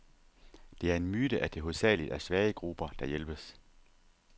Det er en myte, at det hovedsageligt er svage grupper, der hjælpes.